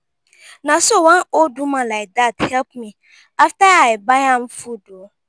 na so one old woman like dat help me after i buy am food.